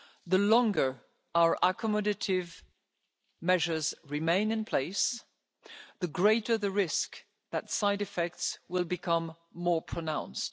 The longer our accommodative measures remain in place, the greater the risk that side effects will become more pronounced.